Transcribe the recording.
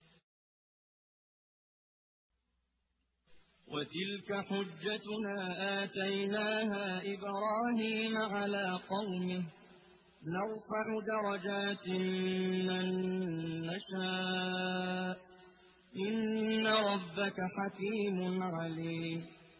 وَتِلْكَ حُجَّتُنَا آتَيْنَاهَا إِبْرَاهِيمَ عَلَىٰ قَوْمِهِ ۚ نَرْفَعُ دَرَجَاتٍ مَّن نَّشَاءُ ۗ إِنَّ رَبَّكَ حَكِيمٌ عَلِيمٌ